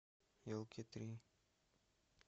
елки три